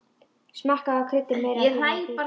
Smakkað og kryddið meira ef þurfa þykir.